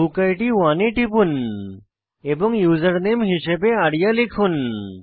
বুকিড 1 এ টিপুন এবং ইউজারনেম হিসাবে আরিয়া লিখুন